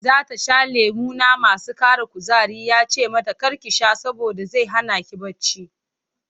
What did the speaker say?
Za ta sha lemuna masu ƙara kuzari ya ce mata kar ki sha saboda zai hana ki bacci.